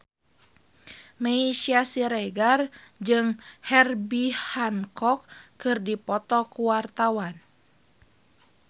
Meisya Siregar jeung Herbie Hancock keur dipoto ku wartawan